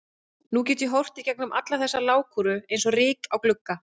Nú get ég horft í gegnum alla þessa lágkúru eins og ryk á glugga.